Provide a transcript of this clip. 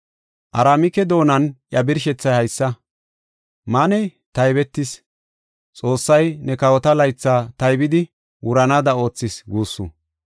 “Aramike doonan iya birshethay haysa. MAANE: (taybetis) ‘Xoossay ne kawota laytha taybidi wuranaada oothis’ guussu.